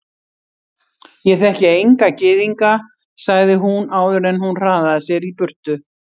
Ég þekki enga gyðinga sagði hún áður en hún hraðaði sér í burtu.